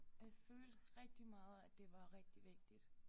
Og jeg følte rigtig meget at det var rigtig vigtigt